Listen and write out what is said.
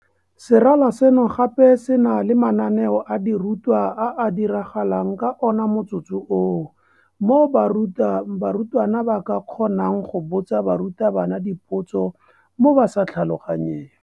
Serala seno gape se na le mananeo a dirutwa a a diragalang ka ona motsotso oo, moo barutwana ba ka kgonang go botsa barutabana dipotso mo ba sa tlhaloganyeng.